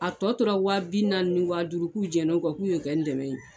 A tɔ tora wa bi naani ni wa duuru k'u jɛnna o kɔ k'u y'o kɛ n dɛmɛ ye.